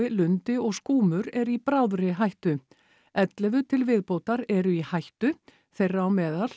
lundi og skúmur eru í bráðri hættu ellefu til viðbótar eru í hættu þeirra á meðal